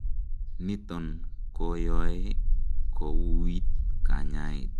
niton koyoe kowuuit kanyaet